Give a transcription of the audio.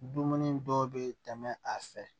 Dumuni dɔw bɛ tɛmɛ a fɛ